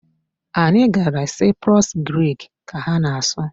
Anyị gara Cyprus, Grik ka ha na-asụ.